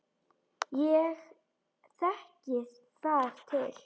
Ég þekki þar til.